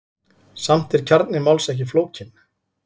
Samt er kjarni máls ekki flókinn.